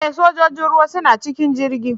E! sojojin ruwa suna cikin jirgin.